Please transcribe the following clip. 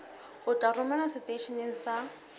o tla romelwa seteisheneng sa